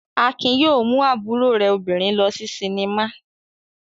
Akin yóò mú àbúrò rẹ̀ obìnrin lọ sí sinimá.